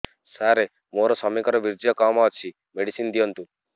ସାର ମୋର ସ୍ୱାମୀଙ୍କର ବୀର୍ଯ୍ୟ କମ ଅଛି ମେଡିସିନ ଦିଅନ୍ତୁ